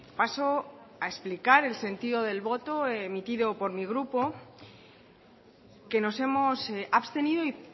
paso a explicar el sentido del voto emitido por mi grupo que nos hemos abstenido y